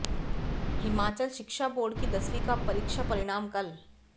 हिमाचल शिक्षा बोर्ड की दसवीं का परीक्षा परिणाम कल